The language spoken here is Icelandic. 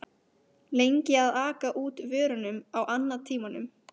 lengi að aka út vörunum á annatímum.